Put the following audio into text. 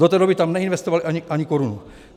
Do té doby tam neinvestovali ani korunu.